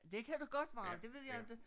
Det kan da godt være det ved jeg inte